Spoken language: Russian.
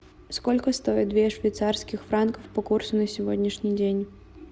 сколько стоит две швейцарских франков по курсу на сегодняшний день